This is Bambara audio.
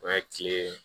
O ye kile